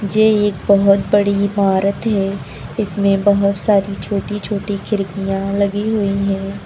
ये एक बहुत बड़ी इमारत है इसमें बहुत सारी छोटी छोटी खिड़कियां लगी हुई हैं।